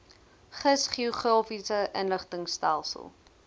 gis geografiese inligtingstelsel